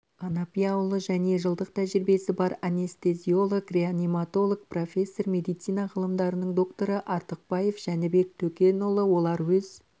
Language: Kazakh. анапияұлы және жылдық тәжірибесі бар анестезиолог-реаниматолог профессор медицина ғылымдарының докторы артықбаев жәнібек төкенұлы олар өз